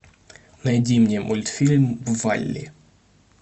найди мне мультфильм валли